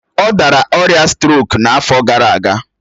Ọ dara ọrịa strok n'afọ gara aga